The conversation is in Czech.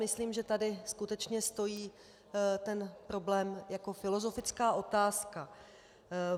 Myslím, že tady skutečně stojí ten problém jako filozofická otázka.